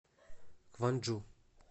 кванджу